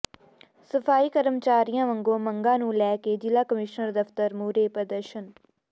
ਸਫ਼ਾਈ ਕਰਮਚਾਰੀਆਂ ਵੱਲੋਂ ਮੰਗਾਂ ਨੂੰ ਲੈ ਕੇ ਜ਼ਿਲ੍ਹਾ ਕਮਿਸ਼ਨਰ ਦਫ਼ਤਰ ਮੂਹਰੇ ਪ੍ਰਦਰਸ਼ਨ